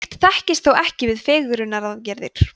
slíkt þekkist þó ekki við fegrunaraðgerðir